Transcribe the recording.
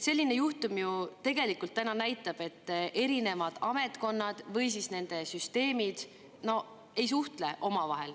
Selline juhtum tegelikult näitab, et erinevad ametkonnad või siis nende süsteemid ju ei suhtle omavahel.